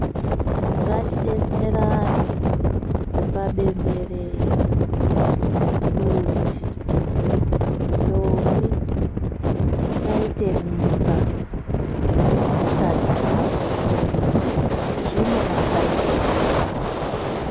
Ngatidetserane kupa bemberera kuti ndombi dzisaite mimba dzisati dzakura zvine matambudziko.